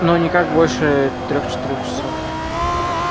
ну никак больше трёх-четырёх часов